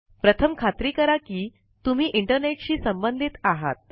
प्रथम खात्री करा कि तुम्ही इंटरनेट शी संबंधित आहात